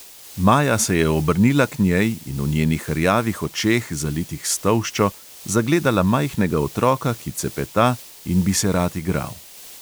Maja se je obrnila k njej in v njenih rjavih očeh, zalitih s tolščo, zagledala majhnega otroka, ki cepeta in bi se rad igral.